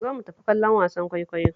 Zo mu tafi kallon wasan kwaikwayo